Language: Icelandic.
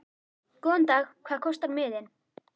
Góðan dag. Hvað kostar miðinn?